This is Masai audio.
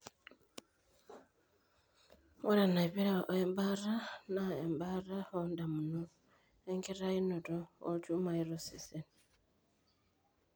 Ore enaipira oembaata naa embaata oondamunot enkitainoto oolchumai tosesen.